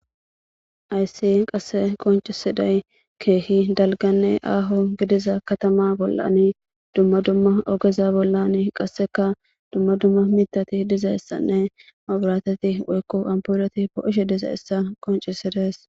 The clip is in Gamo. Hayssi qassi qonccissiday keehi dalgganne aaho gidiza kathama bollani dumma dumma ogeza bollani qassika dumma dumma miththathi dizayssanne mabraathethi woykko amppuulethi poo7iishe dizayssa qonccissedes.